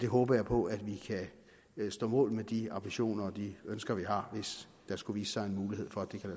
håber på at vi kan stå mål med de ambitioner og de ønsker vi har hvis der skulle vise sig en mulighed for at det kan